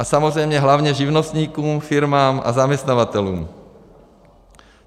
A samozřejmě hlavně živnostníkům, firmám a zaměstnavatelům.